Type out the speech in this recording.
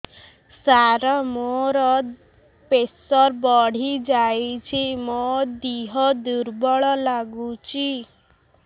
ସାର ମୋର ପ୍ରେସର ବଢ଼ିଯାଇଛି ମୋ ଦିହ ଦୁର୍ବଳ ଲାଗୁଚି